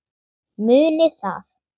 Munið það.